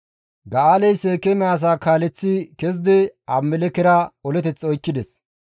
Ga7aaley Seekeeme asaa kaaleththi kezidi Abimelekkera oleteth oykkides.